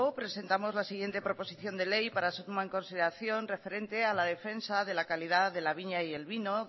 presentamos la siguiente proposición de ley para su toma en consideración referente a la defensa de la calidad de la viña y el vino